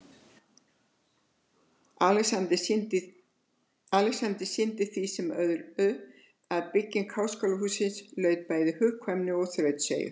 Alexander sýndi í því sem öðru, er að byggingu háskólahússins laut, bæði hugkvæmni og þrautseigju.